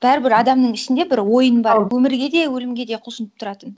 бәрібір адамның ішінде бір ойын бар өмірге де өлімге де құлшынып тұратын